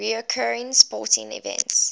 recurring sporting events